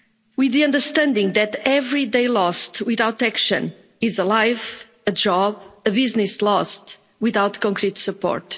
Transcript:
We must understand that every day lost without action is a life, a job, a business lost without concrete support.